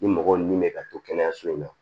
Ni mɔgɔ min bɛ ka to kɛnɛyaso in na